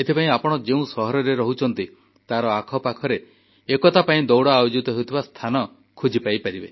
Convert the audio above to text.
ଆପଣ ଯେଉଁ ସହରରେ ରହୁଛନ୍ତି ତାର ଆଖପାଖରେ ଏକତା ପାଇଁ ଦୌଡ଼ ଆୟୋଜିତ ହେଉଥିବା ସ୍ଥାନ ଖୋଜି ପାଇପାରିବେ